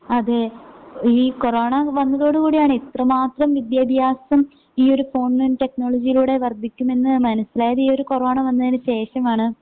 അതേ ഈ കൊറോണ വന്നതോടുകൂടിയാണ് ഇത്രമാത്രം വിദ്യാഭ്യാസം ഈയൊരു ഓൺലൈൻ ടെക്നോളജിയിലൂടെ വർദ്ധിക്കുമെന്ന് മനസ്സിലായത് ഈയൊരു കൊറോണ വന്നതിന് ശേഷമാണ്.